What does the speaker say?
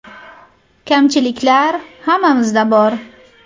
Kamchiliklar hammamizda bor.